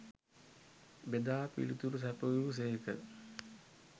බෙදා පිළිතුරු සැපයූ සේක.